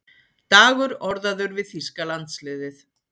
Dagur orðaður við þýska landsliðið